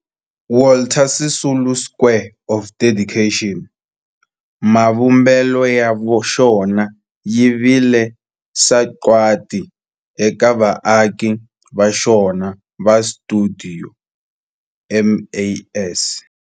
Walter Sisulu Square of Dedication, mavumbelo ya xona ya vile sagwadi eka vaaki va xona va stuidio MAS.